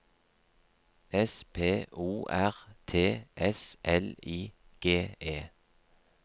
S P O R T S L I G E